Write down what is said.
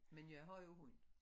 Men jeg har jo hund